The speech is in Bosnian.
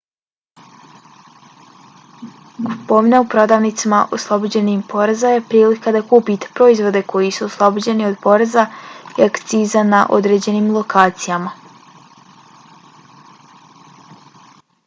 kupovina u prodavnicama oslobođenim poreza je prilika da kupite proizvode koji su oslobođeni od poreza i akciza na određenim lokacijama